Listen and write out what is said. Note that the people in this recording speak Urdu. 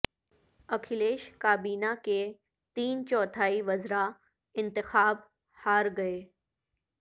اکھلیش کابینہ کے تین چوتھائی وزراء انتخاب ہار گئے